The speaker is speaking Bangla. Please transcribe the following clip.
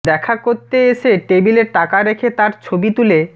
দেখা করেত এসে টেবিলে টাকা রেখে তার ছবি তুলে